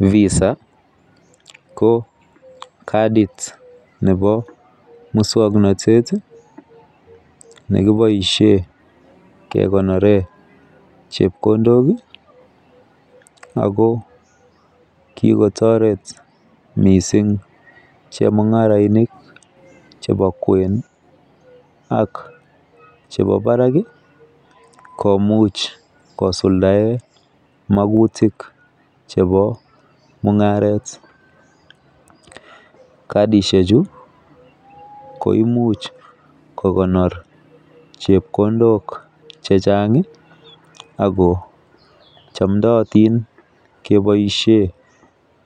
Visa ko kadit nebo muswoknotet tii nekeboishen kekonoren chepkondok kii Ako kikotoret missing chemungarainik chebo kwenik ak chebo barak kii komuch kisuldaen mokutik chebo mungaret. Kadishek chuu ko imuch kokonor chepkondok chechangi Ako chomdotin keboishen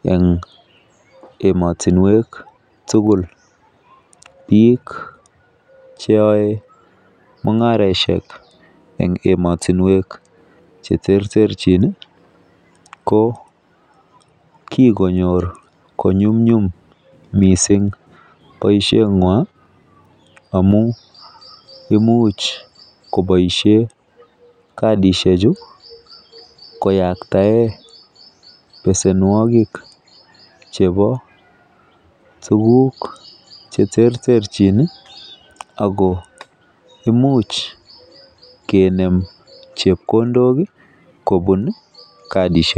en emotunwek tukuk. Bik cheyoe mungaroshek en emotunwek cheterterchin ko kikonyor konyumnyum missing boishenywan amun imuch koboishen kadishek chuu koyaktaen besenuokik chebo tukuk cheterterchin nii ako imuch kenemu chepkondok kii kobun kadishek chuu.